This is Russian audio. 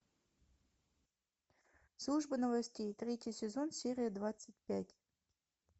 служба новостей третий сезон серия двадцать пять